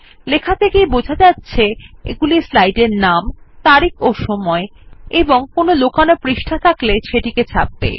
লেখা থেকেই বোঝা যাচ্ছে এগুলি স্লাইড এর নাম তারিখ ও সময় এবং কোনো লোকানো পৃষ্ঠা থাকলে সেটি ছাপবে